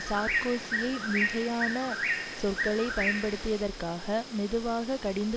சார்க்கோசியை மிகையான சொற்களை பயன்படுத்தியதற்காக மெதுவாக கடிந்து